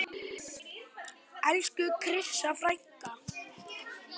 Elsku Krissa frænka.